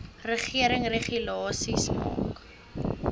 regering regulasies maak